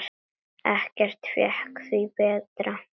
Ekkert fékk því breytt.